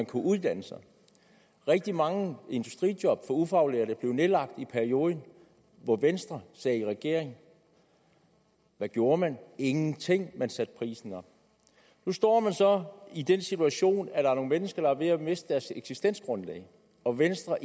kunne uddanne sig rigtig mange industrijob for ufaglærte blev nedlagt i perioden hvor venstre sad i regering hvad gjorde man ingenting man satte prisen op nu står man så i den situation er nogle mennesker der er ved at miste deres eksistensgrundlag og venstre